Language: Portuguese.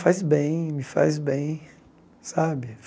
Faz bem, me faz bem, sabe?